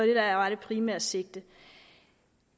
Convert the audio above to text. der er det primære sigte